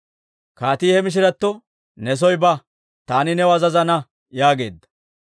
Kaatii he mishiratto, «Ne soo ba; taani new azazana» yaageedda.